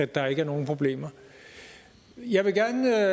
der ikke er nogen problemer jeg vil gerne